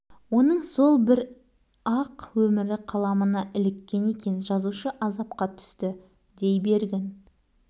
ол адам иесіз аралда жалғыз қалған робинзон емес өзін қоршаған ортада үлкен-кішімен жолдас-жораларымен бірге өмір сүреді